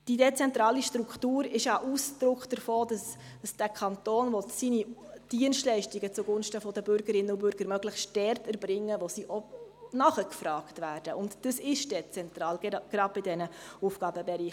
Die dezentrale Struktur ist ja Ausdruck davon, dass dieser Kanton seine Dienstleistungen zugunsten der Bürgerinnen und Bürger möglichst dort erbringen will, wo sie auch nachgefragt werden, und das ist dezentral, gerade bei diesen Aufgabenbereichen.